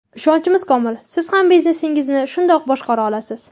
Ishonchimiz komil, siz ham biznesingizni shundoq boshqara olasiz.